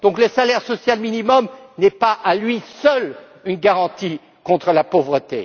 Le salaire social minimum n'est donc pas, à lui seul, une garantie contre la pauvreté.